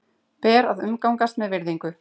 Ber að umgangast með virðingu.